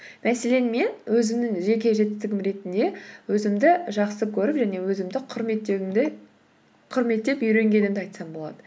мәселен мен өзімнің жеке жетістігім ретінде өзімді жақсы көріп және өзімді құрметтеп үйренгенімді айтсам болады